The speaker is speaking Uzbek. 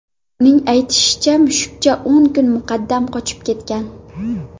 Uning aytishicha, mushukcha o‘n kun muqaddam qochib ketgan.